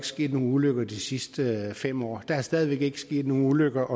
sket nogen ulykker de sidste fem år der er stadig ikke sket nogen ulykker